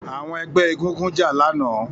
Àwọn ẹgbẹ́ egúngún jà lánàá